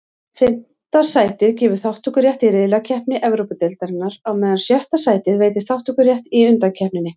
Fimmta sætið gefur þátttökurétt í riðlakeppni Evrópudeildarinnar, á meðan sjötta sætið veitir þátttökurétt í undankeppninni.